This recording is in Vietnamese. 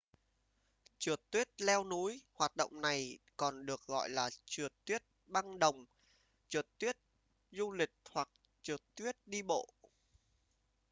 trượt tuyết leo núi hoạt động này còn được gọi là trượt tuyết băng đồng trượt tuyết du lịch hoặc trượt tuyết đi bộ